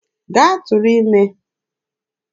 Gaa tụrụ ime!